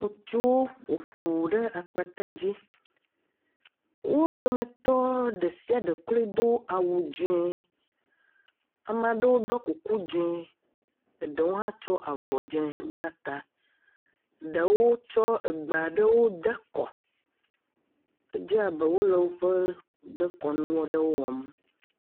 ŋutsuw ƒo ƒu ɖe akpatadzi. Wo dometɔ ɖe sia ɖe kloe do awu dzẽ. Ama ɖewo ɖɔ kuku dzẽ. Eɖewo hã tsyɔ avɔ dzẽ bla ta. Eɖewo tsɔ egbe aɖewo de kɔ. Edze abe wole woƒe dekɔnu aɖewo wɔm.